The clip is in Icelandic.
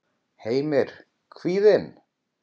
Heimir: Kvíðinn?